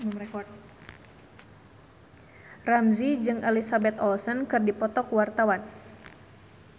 Ramzy jeung Elizabeth Olsen keur dipoto ku wartawan